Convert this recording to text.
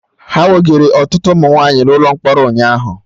Ha wegara ọtụtụ ụmụ nwaanyị na ụlọ mkpọrọ ụnyaahụ